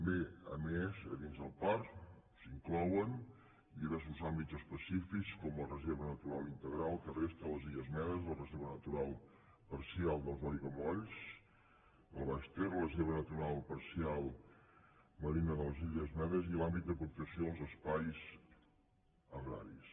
bé a més a dins el parc s’inclouen diversos àm·bits específics com la reserva natural integral terrestre de les illes medes la reserva natural parcial dels aigua·molls del baix ter la reserva natural parcial marina de les illes medes i l’àmbit de protecció dels espais agraris